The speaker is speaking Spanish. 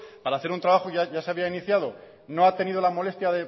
para hacer un trabajo ya se había iniciado no ha tenido la molestia